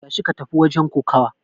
Tashi ka tafi wajen kokawa!